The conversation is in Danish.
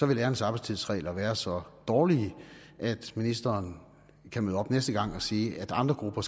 vil lærernes arbejdstidsregler være så dårlige at ministeren kan møde op næste gang og sige at andre grupper